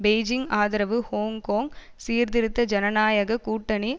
Beijing ஆதரவு Hong Kong சீர்திருத்த ஜனநாயக கூட்டணி